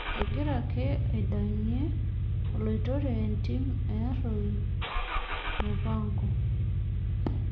Egira ake aidang'ie oloitore entim leArroi mupango